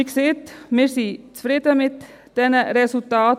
Wie gesagt, wir sind zufrieden mit diesen Resultaten.